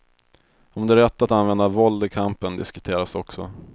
Om det är rätt att använda våld i kampen diskuteras också.